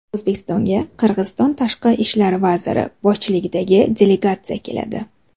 O‘zbekistonga Qirg‘iziston Tashqi ishlar vaziri boshchiligidagi delegatsiya keladi.